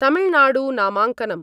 Tamil Nadu नामाङ्कनम्